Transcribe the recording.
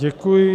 Děkuji.